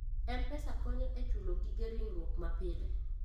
M-Pesa konyo e chulo gige ringruok mapile.